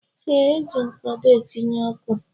Ee, e ji mkpado etinye ọkụ